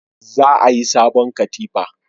Za a yi sabon katifa